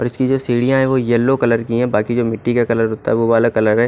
उसकी सीढियाँ जो है येल्लो कलर की है बाकी जो मिट्टी का कलर जो होता है वो वाला कलर है।